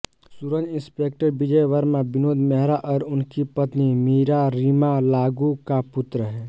सूरज inspector Vijay Varma Vinod Mehra और उनकी पत्नी मीरा रीमा लागू का पुत्र है